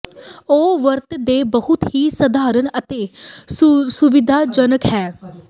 ਉਹ ਵਰਤ ਦੇ ਬਹੁਤ ਹੀ ਸਧਾਰਨ ਅਤੇ ਸੁਵਿਧਾਜਨਕ ਹੈ